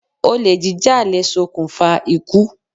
Olè jíjà lè ṣokùnfà ikú